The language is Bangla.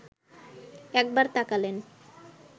একবার তাকালেন